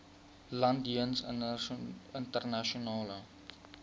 land jeens internasionale